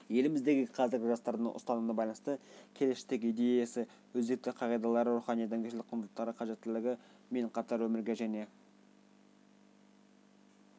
еліміздегі қазіргі жастардың ұстанымына байланысты келешектегі идеясы өзекті қағидалары рухани-адамгершілік құндылықтар қажеттілігі мен қатар өмірге және